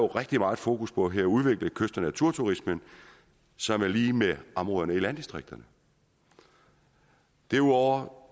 rigtig meget fokus på her at udvikle kyst og naturturismen som er lig med områderne i landdistrikterne derudover